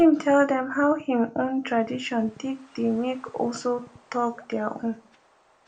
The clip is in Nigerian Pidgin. him tell them how him own tradition take dey make also talk their own